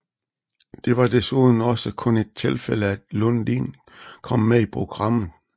Det var desuden også kun et tilfælde at Lundin kom med i programmet